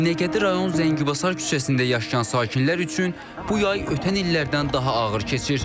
Binəqədi rayon Zəngibasar küçəsində yaşayan sakinlər üçün bu yay ötən illərdən daha ağır keçir.